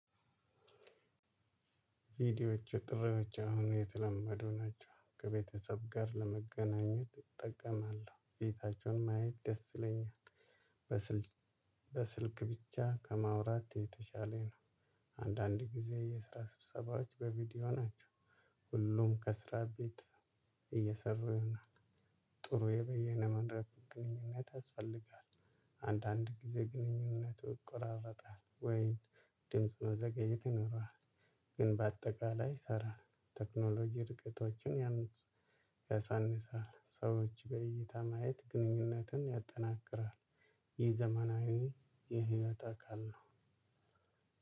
የቪዲዮዎች ጥሪዎች አሁን የተለመዱ ናቸው። ከቤተሰብ ጋር ለመገናኘት እጠቀማለሁ። ቤታቸውን ማየት ደስ ይለኛል። በስልክ ብቻ ከማውራት የተሻለ ነው። አንዳንድ ጊዜ የስራ ስብሰባዎች በቪዲዮ ናቸው። ሁሉም ከስራ ቤት እየሰሩ ይሆናል ጥሩ የበየነ መንደረብን ግንኙነት ያስፈልጋል። አንዳንድ ጊዜ ግንኙነቱ ይቆራረጣል። ወይን ድምጽ መዘገየት ይኖራል። ግን በአጠቃላይ ሰራ። ቴክኖሎጂ ርቀቶችን ያሳንሳል። ሰዎች በእይታ ማየት ግንኙነትን ያጠናክራል። ይህ ዘመናዊ የህይወት አካል ነው።